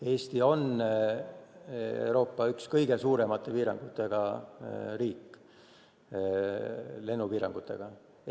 Eesti on Euroopa üks kõige suuremate lennupiirangutega riik.